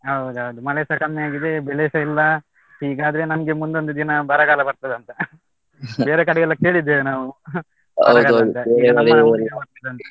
ಹೌದೌದು ಮಳೆಸಾ ಕಮ್ಮಿ ಆಗಿದೆ ಬೆಳೆಸ ಇಲ್ಲ, ಹೀಗಾದರೆ ನಮ್ಗೆ ಮುಂದೊಂದು ದಿನ ಬರಗಾಲ ಬರ್ತದ ಅಂತ , ಬೇರೆ ಕಡೆಯೆಲ್ಲಾ ಕೇಳಿದ್ದೇವೆ ನಾವು, ಆಹ್ ಈಗ ನಮ್ಮ ಊರಿಗೆ ಬರ್ತದ ಅಂತ.